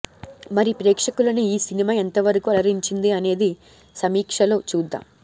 మరి ప్రేక్షకులని ఈ సినిమా ఎంతవరకు అలరించింది అనేది సమీక్షలో చూద్దాం